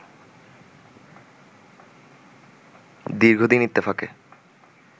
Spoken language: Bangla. দীর্ঘদিন ইত্তেফাকে